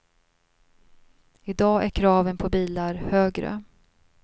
I dag är kraven på bilar högre.